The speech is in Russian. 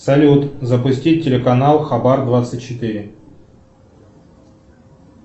салют запустить телеканал хабар двадцать четыре